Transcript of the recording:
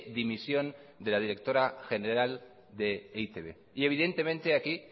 dimisión de la directora general de e i te be y evidentemente aquí